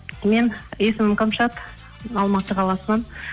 мен есімім кәмшат алматы қаласынан